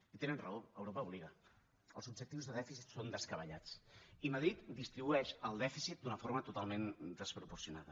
i tenen raó europa obliga els objectius de dèficit són descabellats i madrid distribueix el dèficit d’una forma totalment desproporcionada